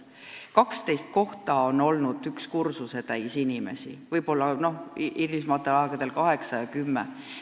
12 kohta on olnud üks kursusetäis inimesi, võib-olla hilisematel aegadel kaheksa või kümme inimest.